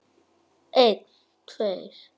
Einn tveir.